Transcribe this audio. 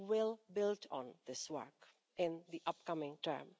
We will build on this work in the upcoming term.